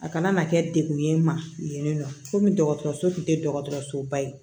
A kana na kɛ degun ye n ma yen nɔ komi dɔgɔtɔrɔso tun tɛ dɔgɔtɔrɔsoba ye